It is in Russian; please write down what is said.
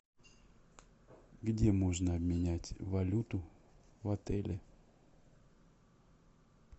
где можно обменять валюту в отеле